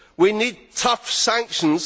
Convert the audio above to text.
We need tough sanctions.